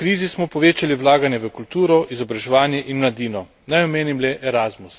Toda kljub krizi smo povečali vlaganje v kulturo, izobraževanje in mladino.